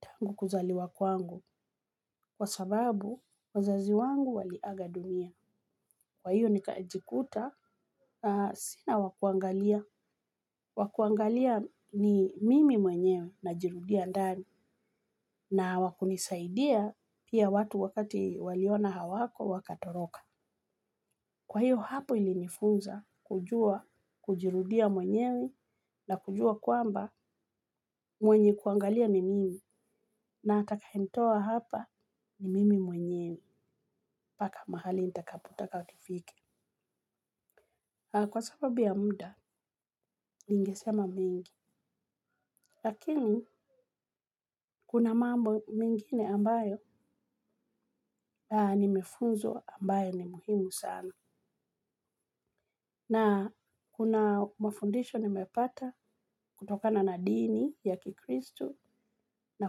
tangu kuzaliwa kwangu kwa sababu wazazi wangu wali aga dunia. Kwa hiyo nikajikuta sina wa kuangalia. Wa kuangalia ni mimi mwenyewe najirudia ndani na wa kunisaidia pia watu wakati waliona hawako wakatoroka. Kwa hiyo hapo ilinifunza kujua kujirudia mwenyewi na kujua kwamba mwenye kuangalia ni mimi na atakaye nitoa hapa ni mimi mwenyewe mpaka mahali nitakapota ka tufike. Kwa sababu ya muda ningesema mengi lakini kuna mambo mingine ambayo nimefunzwa ambayo ni muhimu sana. Na kuna mafundisho nimepata kutokana na dini ya kikristu na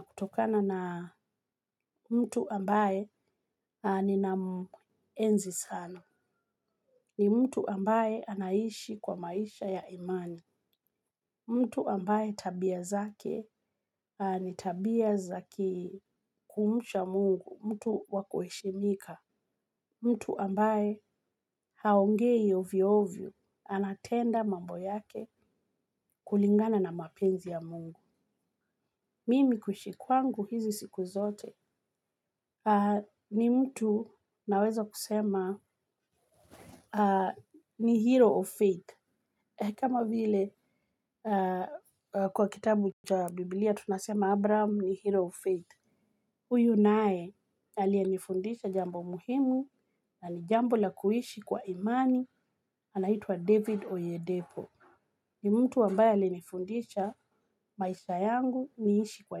kutokana na mtu ambaye ninaenzi sana. Ni mtu ambaye anaishi kwa maisha ya imani. Mtu ambaye tabia zake ni tabia za kumcha mungu. Mtu wa kuheshimika. Mtu ambaye haongei ovyo ovyo. Anatenda mambo yake kulingana na mapenzi ya mungu. Mimi kuishi kwangu hizi siku zote ni mtu naweza kusema ni hilo faith kama vile kwa kitabu cha bibilia tunasema abraham ni hero of faith huyu naye aliyenifundisha jambo muhimu na ni jambo la kuishi kwa imani anaitwa david oyedevo ni mtu ambaye alinifundisha maisha yangu niishi kwa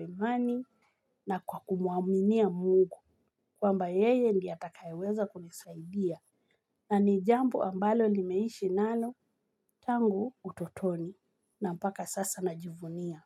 imani na kuaminia mungu kwamba yeye ndiye atakaye weza kunisaidia. Na ni jambo ambalo nimeishi nalo, tangu utotoni, na mpaka sasa najivunia.